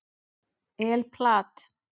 El Plat